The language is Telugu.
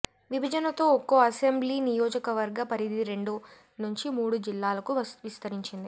విభజనతో ఒక్కొ అసెంబ్లీ నియోజకవర్గ పరిధి రెండు నుంచి మూడు జిల్లాలకు విస్తరించింది